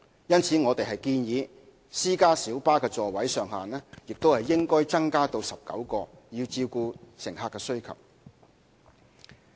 因此，我們建議私家小巴的座位上限亦應增加至19個，以照顧乘客需求。